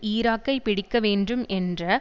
ஈராக்கை பிடிக்க வேண்டும் என்ற